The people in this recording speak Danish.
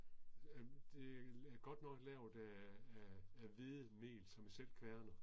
Øh det er godt nok lavet af af af hvede mel som jeg selv kværner